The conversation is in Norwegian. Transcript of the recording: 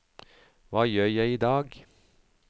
hva gjør jeg idag